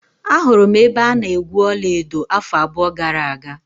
Ahụrụ m ebe a na-egwu ọla edo afọ abụọ gara aga.